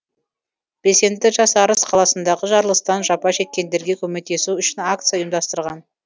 белсенді жас арыс қаласындағы жарылыстан жапа шеккендерге көмектесу үшін акция ұйымдастырған